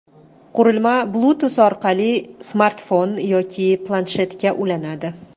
Qurilma Bluetooth orqali smartfon yoki planshetga ulanadi.